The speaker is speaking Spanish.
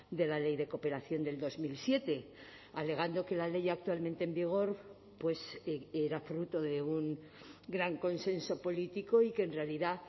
de la ley de cooperación del dos mil siete alegando que la ley actualmente en vigor pues era fruto de un gran consenso político y que en realidad